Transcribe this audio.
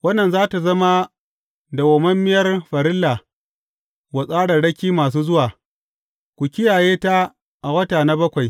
Wannan za tă zama dawwammamiyar farilla wa tsarraraki masu zuwa, ku kiyaye ta a wata na bakwai.